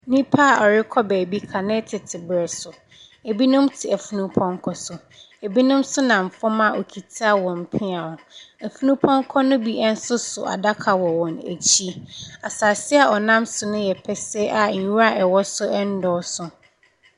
Nnipa a wɔrekɔ baabi kane tete berɛ so. Binom te afunupɔnkɔ so. Binom nso nam fam a wɔkita wɔn pea. Afunupɔnkɔ no bi nso so adaka wɔ wɔn akyi. Asase a wɔnam so no yɛ pɛsɛɛ a nwira a ɛwɔ so nnɔɔso.